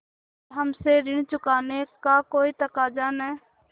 पर हमसे ऋण चुकाने का कोई तकाजा न